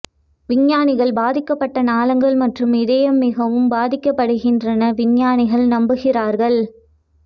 விஞ்ஞானிகள் பாதிக்கப்பட்ட நாளங்கள் மற்றும் இதய மிகவும் பாதிக்கப்படுகின்றன விஞ்ஞானிகள் நம்புகிறார்கள்